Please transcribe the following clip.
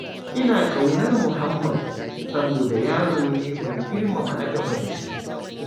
Ina ƙaunar muhammad, saboda yaro ne mai girmama na gaba da shi.